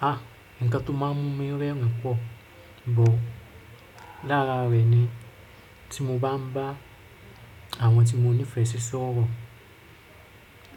Ah! Ǹkan tó máa mú mí rẹ́rìn pọ̀, but lára rẹ̀ ni tí mo bá ń bá àwọn tí mo nífẹ̀ẹ́ sí sọ̀rọ̀.